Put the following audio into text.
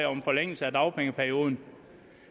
om forlængelse af dagpengeperioden